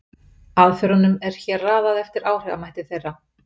Aðferðunum er hér raðað eftir áhrifamætti þeirra.